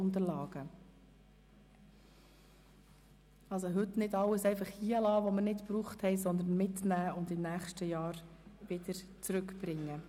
Bitte lassen Sie also nicht alles hier, was wir nicht benutzt haben, sondern nehmen Sie es mit und bringen Sie es nächstes Jahr wieder zurück.